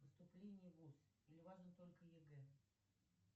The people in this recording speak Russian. поступление в вуз или важен только егэ